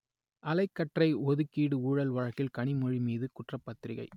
அலைக்கற்றை ஒதுக்கீடு ஊழல் வழக்கில் கனிமொழி மீது குற்றப்பத்திரிகை